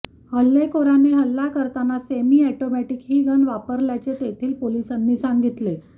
हल्लेखोराने हल्ला करताना सेमी ऑटोमॅटिक ही गन वापरल्याचे तेथील पोलिसांनी सांगितले